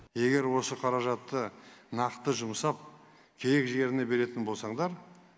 егер осы қаражатты нақты жұмсап керек жеріне беретін болсаңдар